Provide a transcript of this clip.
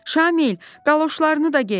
Şamil, qaloşlarını da gey.